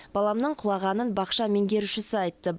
баламның құлағанын бақша меңгерушісі айтты